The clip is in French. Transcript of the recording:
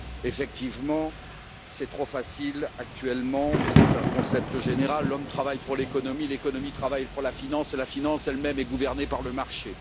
Effectivement, c'est trop facile aujourd'hui, mais c'est un concept général l'homme travaille pour l'économie, l'économie travaille pour la finance et la finance elle même est gouvernée par le marché.